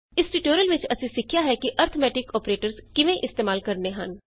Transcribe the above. ਇਸ ਟਿਯੂਟੋਰਿਅਲ ਵਿਚ ਅਸੀਂ ਸਿੱਖਿਆ ਹੈ ਕਿ ਅਰਥਮੈਟਿਕ ਅੋਪਰੇਟਰਸ ਕਿਵੇਂ ਇਸਤੇਮਾਲ ਕਰਨੇ ਹਨ